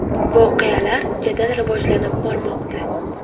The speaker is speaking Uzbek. Voqealar jadal rivojlanib bormoqda.